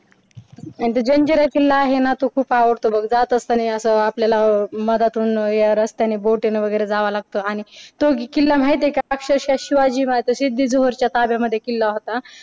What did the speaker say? आणि तो जंजिरा किल्ला आहे ना तो खूप आवडतो बघ जात असताना असं आपल्याला मधातून या रस्त्यानं बोटीने आणि तो किल्ला माहिती आहे का अक्षरशा शिवाजी महाराजांची शिवाजी महाराज बद्दल सिद्धी जोहरच्या ताब्यामध्ये तो किल्ला होता.